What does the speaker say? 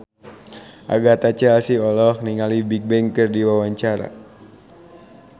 Agatha Chelsea olohok ningali Bigbang keur diwawancara